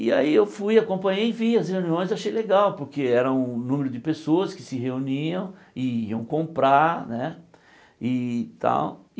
E aí eu fui acompanhei e vi as reuniões, achei legal, porque era um número de pessoas que se reuniam e iam comprar, né? E tal